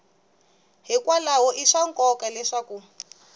hikwalaho i swa nkoka leswaku